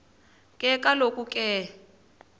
ke kaloku ke